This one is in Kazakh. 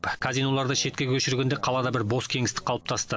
казиноларды шетке көшіргенде қалада бір бос кеңістік қалыптасты